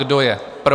Kdo je pro?